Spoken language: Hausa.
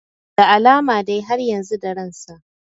Da alama dai har yanzu da ransa